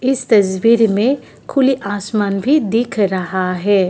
इस तस्वीर में खुली आसमान भी दीख रहा है।